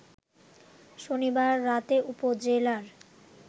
শনিবার রাতে উপজেলার